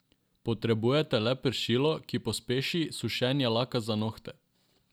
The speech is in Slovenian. Potrebujete le pršilo, ki pospeši sušenje laka za nohte.